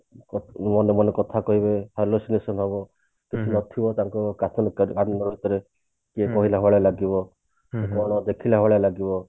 ମନେ ମନେ କଥା କହିବେ hallucination ହବ କିଛି ନଥିବ ତାଙ୍କ ଆମ ଭିତରେ କହିଲା ଭଳି ଲାଗିବ ଦେଖିଲା ଭଳି ଲାଗିବ